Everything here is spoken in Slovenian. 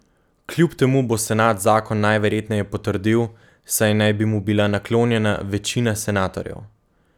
Kljub temu bo senat zakon najverjetneje potrdil, saj naj bi mu bila naklonjena večina senatorjev.